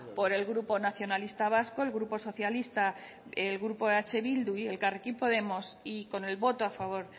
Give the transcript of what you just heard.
por el grupo nacionalista vasco el grupo socialista el grupo eh bildu y elkarrekin podemos y con el voto a favor